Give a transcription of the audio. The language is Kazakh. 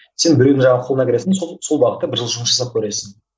сен біреудің жаңағы қолына кіресің де сол сол бағытта бір жыл жұмыс жасап көресің